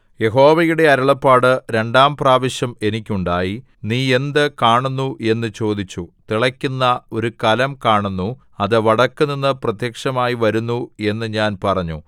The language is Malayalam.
യഹോവയുടെ അരുളപ്പാട് രണ്ടാം പ്രാവശ്യം എനിക്കുണ്ടായി നീ എന്ത് കാണുന്നു എന്ന് ചോദിച്ചു തിളക്കുന്ന ഒരു കലം കാണുന്നു അത് വടക്കുനിന്നു പ്രത്യക്ഷമായി വരുന്നു എന്ന് ഞാൻ പറഞ്ഞു